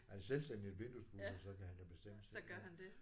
Er han selvstændig vinduespudser så kan han da bestemme selv ja